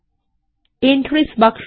entries বাক্সটি